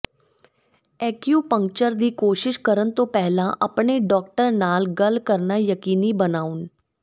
acupuncture ਦੀ ਕੋਸ਼ਿਸ਼ ਕਰਨ ਤੋਂ ਪਹਿਲਾਂ ਆਪਣੇ ਡਾਕਟਰ ਨਾਲ ਗੱਲ ਕਰਨਾ ਯਕੀਨੀ ਬਣਾਓ